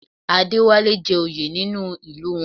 Adéwálé jẹ́ oyè nínú ìlú wọn